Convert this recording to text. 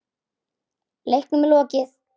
Leiknum er lokið.